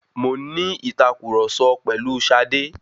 Mo ń ní ìtàkurọ̀sọ pẹ̀lu Ṣadé.